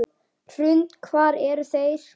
Hrund: Hvar eru þeir?